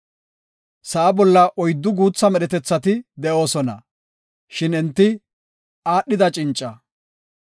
Sa7a bolla oyddu guutha medhetethati de7oosona; shin enti aadhida cinca.